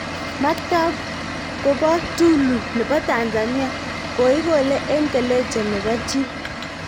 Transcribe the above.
Maktab kobo tulu nebo Tanzania, koikole en keleje nebo chi.